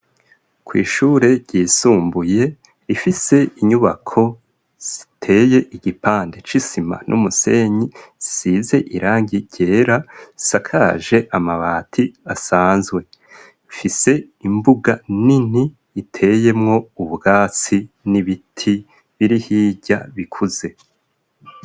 Kw'ishure ryisumbuye rifise inyubako ziteye igipande c'isima n'umusenyi zisize irangi ryera zisakaje amabati asanzwe. Rifise imbuga nini iteyemwo ubwatsi n'ibiti biri hirya bikuze.